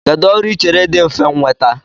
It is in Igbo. Kedụ ọrụ I chere dị mfe nnweta?